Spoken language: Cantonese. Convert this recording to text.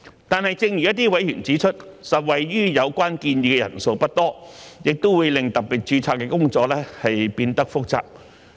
但是，正如一些委員指出，受惠於有關建議的人數不多，亦會令特別註冊的工作變得複雜。